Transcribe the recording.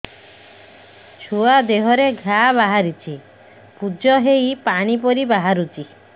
ଛୁଆ ଦେହରେ ଘା ବାହାରିଛି ପୁଜ ହେଇ ପାଣି ପରି ବାହାରୁଚି